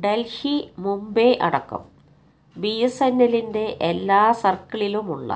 ഡല്ഹി മുംബൈ അടക്കം ബിഎസ്എന്എല്ലിന്റെ എല്ലാ സര്ക്കിളിലുമുള്ള